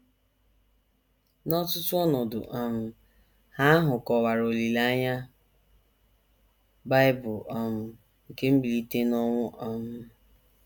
N’ọtụtụ ọnọdụ um Ha ahụ kọwara olileanya Bible um nke mbilite n’ọnwụ um.